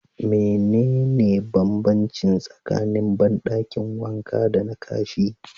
Mene ne banbanci tsakanin bandakin wanka dana Kashi?